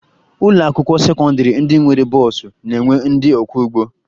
Ụlọakwụkwọ sekọndịrị ndị nwere bọọsụ na-enwe ndị ọkwọụgbọ